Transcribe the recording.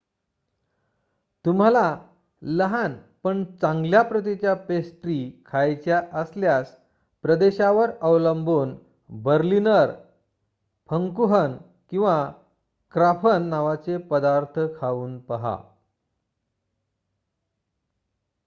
तुम्हाला लहान पण चांगल्या प्रतीच्या पेस्ट्री खायच्या असल्यास प्रदेशावर अवलंबून बर्लिनर फंकूहन किंवा क्राफन नावाचे पदार्थ खाऊन पाहा